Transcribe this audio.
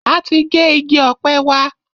A ti gé igi ọ̀pẹ wa.